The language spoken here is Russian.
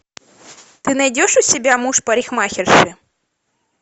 ты найдешь у себя муж парикмахерши